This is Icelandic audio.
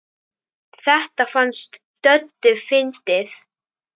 Þetta fannst Döddu fyndið.